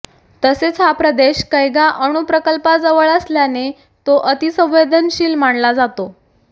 तसेच हा प्रदेश कैगा अणुप्रकल्पाजवळ असल्याने तो अतिसंवेदनशील मानला जातो